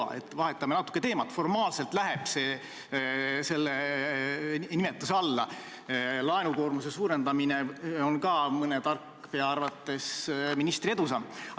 Nii et vahetame natuke teemat, formaalselt läheb see ikka selle nimetuse alla – ka laenukoormuse suurendamine on mõne tarkpea arvates ministri edusamm.